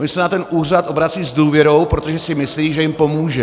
Oni se na ten úřad obracejí s důvěrou, protože si myslí, že jim pomůže.